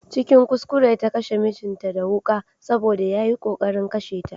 Cikin kuskure ta kashe mijinta da wuƙa Saboda yayi ƙoƙarin kashe ta.